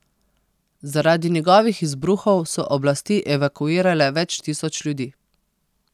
Zaradi njegovih izbruhov so oblasti evakuirale več tisoč ljudi.